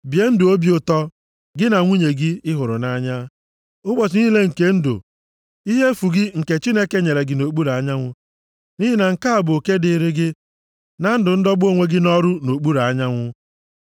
Bie ndụ obi ụtọ, gị na nwunye gị ị hụrụ nʼanya, ụbọchị niile nke ndụ ihe efu gị nke Chineke nyere gị nʼokpuru anyanwụ, nʼihi na nke a bụ oke dịịrị gị na ndụ ndọgbu onwe gị nʼọrụ nʼokpuru anyanwụ.